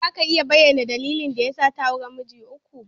Ko za ka iya bayyana dalilin da ya sa ta auri miji uku?